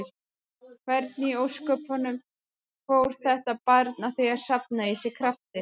Hvernig í ósköpunum fór þetta barn að því að safna í sig krafti?